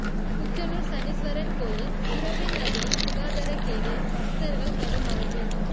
குச்சனூர் சனீஸ்வரன் கோயில் சுரபி நதியில் சுகாதாரக் கேடு பக்தர்கள் கடும் அவதி